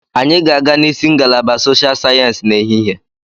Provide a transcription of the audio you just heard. Anyị ga-aga n'isi ngalaba Soshal Sayensị n'ehihie.